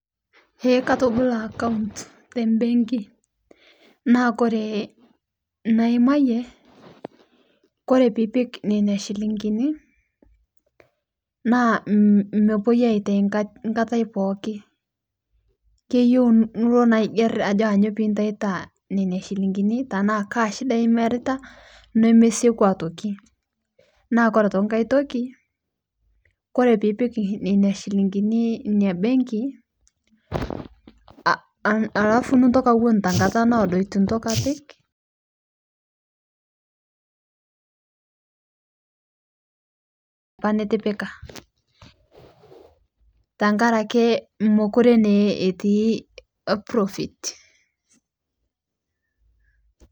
Ee katabolo account tembenki naa ore inaimayie ore piipik nena shilingini naa mepuoi aitau enkata pookin keyieu nilo aigerr ajo kainyio pee intauto Nena shilingini enaa kaa shida iimarita nemesieku aitoki naa ore enkae toki ore pee pik nena shilingini embenki alafu niton tenkata sapuk itu intoki apik neeku metii profit.